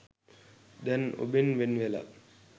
දැන් ඔබෙන් වෙන් වෙලා